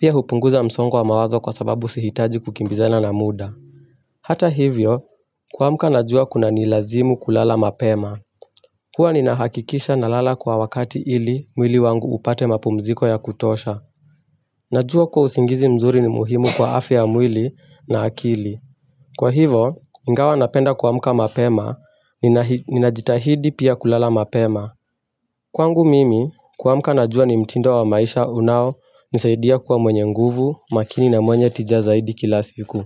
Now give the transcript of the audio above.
Pia hupunguza msongo wa mawazo kwa sababu sihitaji kukimbiza na muda. Hata hivyo, kuamka na jua kunanilazimu kulala mapema. Huwa ninahakikisha nalala kwa wakati ili mwili wangu upate mapumziko ya kutosha. Najua kuwa usingizi mzuri ni muhimu kwa afya ya mwili na akili. Kwa hivo, ingawa napenda kuamka mapema, ninajitahidi pia kulala mapema. Kwangu mimi kuamka najua ni mtindo wa maisha unaonisaidia kuwa mwenye nguvu makini na mwenye tija zaidi kila siku.